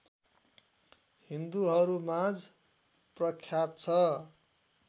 हिन्दूहरूमाझ प्रख्यात छ